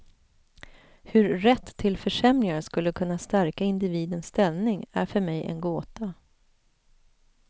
Hur rätt till försämringar skulle kunna stärka individens ställning är för mig en gåta.